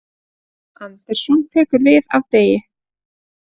Andersson tekur við af Degi